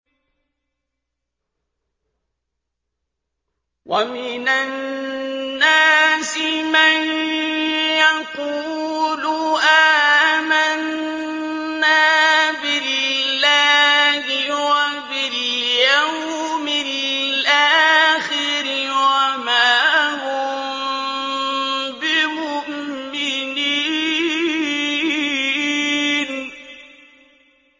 وَمِنَ النَّاسِ مَن يَقُولُ آمَنَّا بِاللَّهِ وَبِالْيَوْمِ الْآخِرِ وَمَا هُم بِمُؤْمِنِينَ